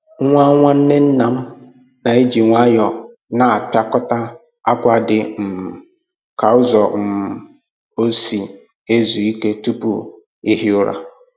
Nwa nwanne nna m na-eji nwayọọ na-apịakọta akwa dị um ka ụzọ ọ um si ezu Ike tupu ihi ụra